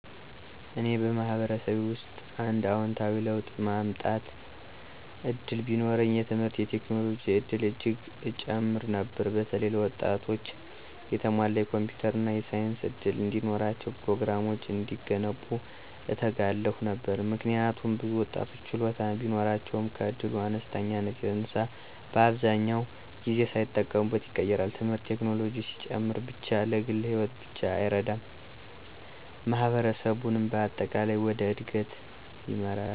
እኔ በማህበረሰቤ ውስጥ አንድ አዎንታዊ ለውጥ ማመጣት እድል ቢኖረኝ፣ የትምህርትና የቴክኖሎጂ እድል እጅግ እጨምር ነበር። በተለይ ለወጣቶች የተሟላ የኮምፒውተር እና የሳይንስ እድል እንዲኖራቸው፤ ፕሮግራሞች እንዲገነቡ እተጋለሁ ነበር። ምክንያቱም ብዙ ወጣቶች ችሎታ ቢኖራቸውም ከእድል አነስተኛነት የተነሳ አብዛኛውን ጊዜ ሳይጠቀሙበት ይቀራሉ። ትምህርትና ቴክኖሎጂ ሲጨምር ብቻ ለግል ሕይወት ብቻ አይረዳም፣ ማህበረሰቡንም በአጠቃላይ ወደ እድገት ይመራል።